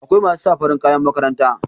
akwai masu sa farin kayan makaranta